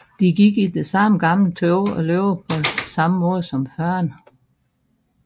De gik i det samme gamle tøj og levede på samme måde som før